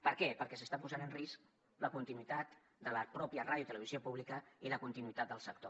per què perquè s’està posant en risc la continuïtat de la mateixa ràdio i televisió públiques i la continuïtat del sector